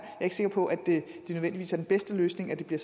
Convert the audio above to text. ikke sikker på at det nødvendigvis er den bedste løsning at det bliver